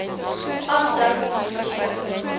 aftrekkings geskied outomaties